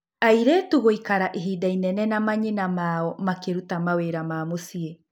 Airĩtu gũikara ihinda inene na manyina mao makĩruta mawĩra ma mũciĩ.